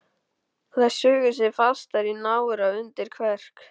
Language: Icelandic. Og þær sugu sig fastar í nára og undir kverk.